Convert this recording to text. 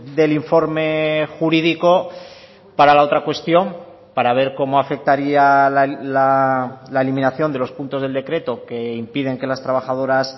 del informe jurídico para la otra cuestión para ver cómo afectaría la eliminación de los puntos del decreto que impiden que las trabajadoras